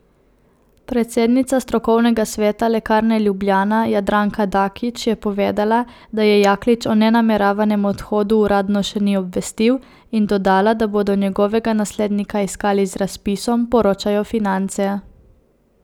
Predsednica strokovnega sveta Lekarne Ljubljana Jadranka Dakić je povedala, da je Jaklič o nameravanem odhodu uradno še ni obvestil in dodala, da bodo njegovega naslednika iskali z razpisom, poročajo Finance.